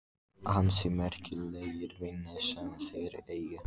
Ansi merkilegir vinir sem þeir eiga.